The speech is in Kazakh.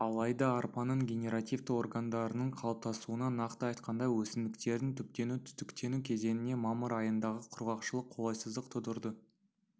алайда арпаның генеративті органдарының қалыптасуына нақты айтқанда өсімдіктердің түптену-түтіктену кезеңіне мамыр айындағы құрғақшылық қолайсыздық тудырды